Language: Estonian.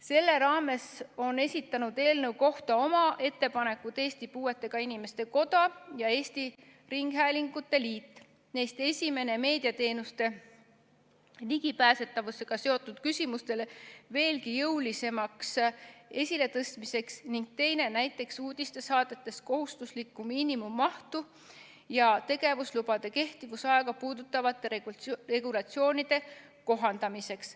Selle raames on esitanud eelnõu kohta oma ettepanekud Eesti Puuetega Inimeste Koda ja Eesti Ringhäälingute Liit – neist esimene meediateenuste ligipääsetavusega seotud küsimustele veelgi jõulisemaks esiletõstmiseks ning teine näiteks uudistesaadetes kohustusliku miinimummahtu ja tegevuslubade kehtivusaega puudutavate regulatsioonide kohandamiseks.